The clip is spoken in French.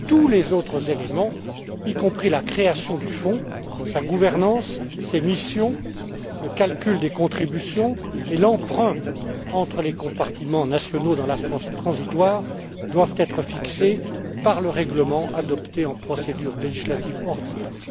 Tous les autres éléments, y compris la création du fonds, sa gouvernance, ses missions, le calcul des contributions et l'emprunt entre les compartiments nationaux dans la phase transitoire, doivent être fixés par le règlement adopté en procédure législative ordinaire.